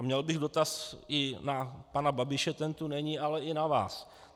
A měl bych dotaz i na pana Babiše, ten tu není, ale i na vás.